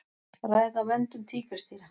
Ræða verndun tígrisdýra